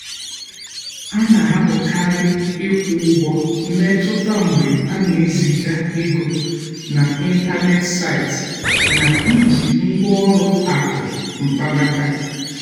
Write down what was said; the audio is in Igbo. a na-ahapụkarị ịkwụ ụgwọ mmetụta mgbe ana-eziga ego n'ịntanetị site na iji ngwa ụlọ akụ mkpanaka.